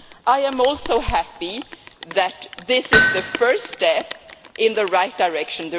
I am also happy that this is the first step in the right direction.